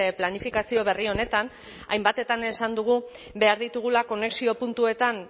planifikazio berri honetan hainbatetan esan dugu behar ditugula konexio puntuetan